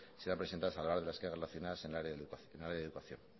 serán presentadas a lo largo de las quejas relacionadas en el área de educación